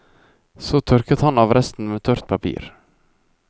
Så tørker han av resten med tørt papir.